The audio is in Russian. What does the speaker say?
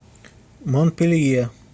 монпелье